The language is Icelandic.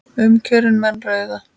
Um kjörin menn ræða.